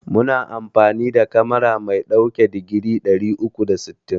Muna amfani da kamera mai ɗauke da digiri ɗari uku da sittin.